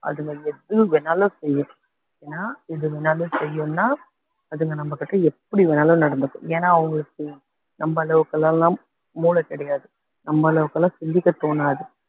அதுங்க எது வேணாலும் செய்யலாம் ஏன்னா எது வேணாலும் செய்யும்ன்னா அதுங்க நம்ம கிட்ட எப்படி வேணாலும் நடந்துக்கும் ஏன்னா அவங்களுக்கு நம்ப அளவுக்குகெல்லாம் மூளை கிடையாது நம்ம அளவுக்கு எல்லாம் சிந்திக்க தோணாது